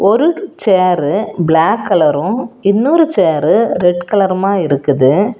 ஒரு chair black colour இன்னொரு chair red கலருமா இருக்குது.